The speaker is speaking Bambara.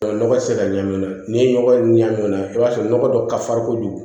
Nɔgɔ tɛ se ka ɲan ni nɔgɔ ɲanan i b'a sɔrɔ nɔgɔ dɔ ka farikojugu